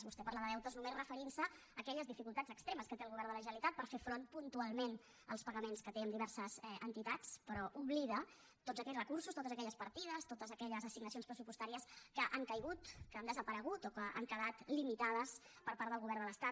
vostè parla de deutes només referint se a aquelles dificultats extremes que té el govern de la generalitat per fer front puntualment als pagaments que té amb diverses entitats però oblida tots aquells recursos totes aquelles partides totes aquelles assignacions pressupostàries que han caigut que han desaparegut o que han quedat limitades per part del govern de l’estat